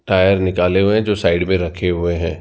Tyre निकाले हुए जो साइड में रखे हुए हैं।